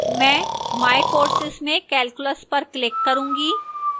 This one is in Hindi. my my courses में calculus पर click करूंगी